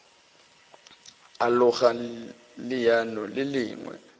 a loga leano le lengwe